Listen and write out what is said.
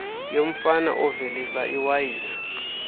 yomfama ovelisa iwayini